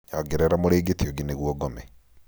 nyongerera mũrĩngĩti ũngĩ nĩguo ngome